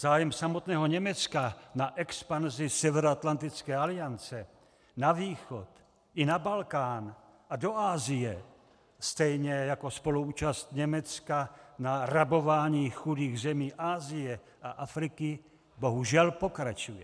Zájem samotného Německa na expanzi Severoatlantické aliance na východ i na Balkán a do Asie stejně jako spoluúčast Německa na rabování chudých zemí Asie a Afriky bohužel pokračuje.